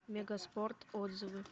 мегаспорт отзывы